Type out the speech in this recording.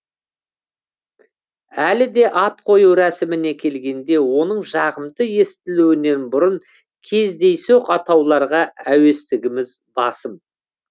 әлі де ат қою рәсіміне келгенде оның жағымды естілуінен бұрын кездейсоқ атауларға әуестігіміз басым